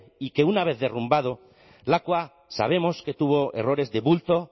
y que una vez derrumbado lakua sabemos que tuvo errores de bulto